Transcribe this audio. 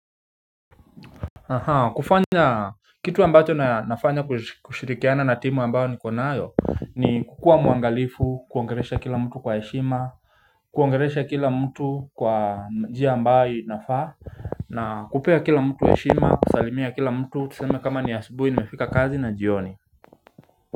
Aha kufanya kitu ambayo na nafanya kushirikiana na timu ambayo ni kukua mwangalifu kuangelesha kila mtu kwa heshima Kuangelesha kila mtu kwa njia ambayo inafaa na kupea kila mtu heshima kusalimia kila mtu tuseme kama ni asibuhi nimefika kazi na jioni.